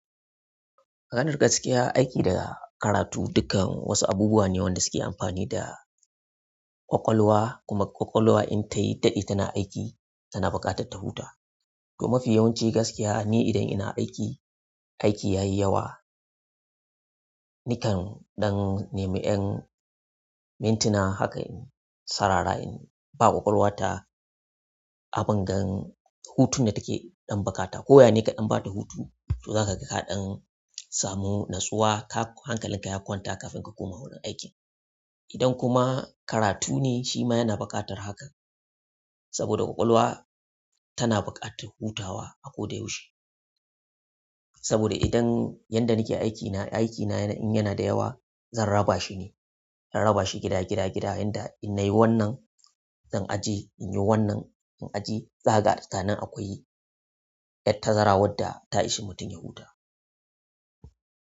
Maganar gaskiya aiki da karatu dukkan wasu abubuwa ne da suke amfani da ƙwaƙwalwa kuma ƙwaƙwalwa in tayi daɗe tana aiki, tana buƙatar ta huta. To mafi yawanci gaskiya ni idan ina aiki, aiki yayi yawa nikan dan neme 'yan mintuna haka in sarara in ba ƙwaƙwalwata abin gan hutun da take ɗan bukata. Ko yane kaɗan bata hutu, to zaka ga kaɗan samu natsuwa, hankalinka ya kwanta kafin ka koma wurin aiki. Idan kuma karatu ne shi ma yana buƙatar hakan saboda ƙwaƙwalwa tana buƙatar hutawa a ko da yaushe. Saboda idan yanda nake aikina, aikina in yana da yawa zan raba shi ne, in raba shi gida, gida, gida. Inda in nayi wannan zan ajiye inyi wannan in ajiye. Zakaga tsakanin akwai 'yan tazara wadda ta ishi mutum ya huta.